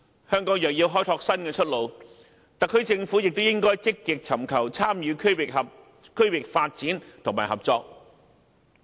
香港若要開拓新出路，特區政府便應積極尋求參與區域發展和合作。